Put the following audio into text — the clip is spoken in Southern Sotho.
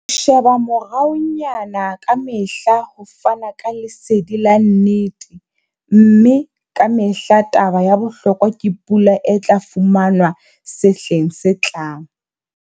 Ho sheba moraonyana ka mehla ho fana ka lesedi la nnete, mme ka mehla taba ya bohlokwa ke pula e tla fumanwa sehleng se tlang.